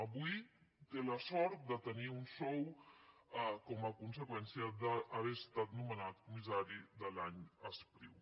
avui té la sort de tenir un sou com a conseqüència d’haver estat nomenat comissari de l’any espriu